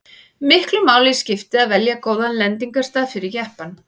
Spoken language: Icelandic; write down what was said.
miklu máli skipti að velja góðan lendingarstað fyrir jeppann